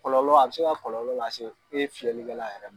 Kɔlɔlɔ a bɛ se ka kɔlɔlɔ lase e fiyɛli kɛla yɛrɛ ma.